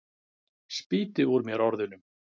Spýti út úr mér orðunum.